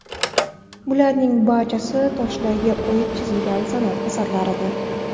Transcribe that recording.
Bularning barchasi toshlarga o‘yib chizilgan san’at asarlaridir.